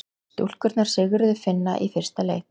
Stúlkurnar sigruðu Finna í fyrsta leik